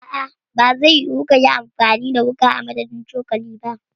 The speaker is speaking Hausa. A'a bazai yiwu kayi amfani da wuƙa a madadin cokali ba.